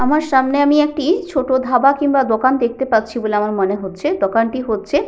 আমার সামনে আমি একটি ছোট ধাবা কিংবা দোকান দেখতে পাচ্ছি বলে আমার মনে হচ্ছেদোকানটি হচ্ছে --